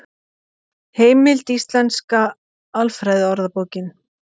Heimild Íslenska alfræðiorðabókin.